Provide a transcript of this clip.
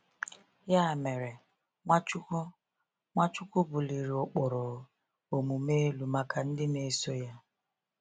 Ya mere, Nwachukwu Nwachukwu buliri ụkpụrụ omume elu maka ndị na-eso ya.